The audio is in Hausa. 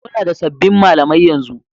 Muna da sabbin malamai yanzu.